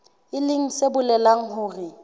e leng se bolelang hore